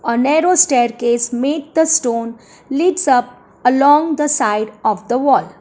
a narrow staircase made the stone leads up along the side of the wall.